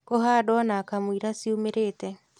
kũhandwo na kamũira ciumĩrĩte